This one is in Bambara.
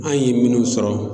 An ye minnu sɔrɔ